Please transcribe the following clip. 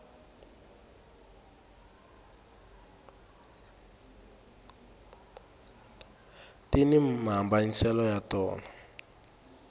tini mhambanyiselo ya tona